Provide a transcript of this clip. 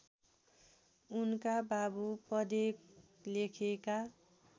उनका बाबु पढेलेखेका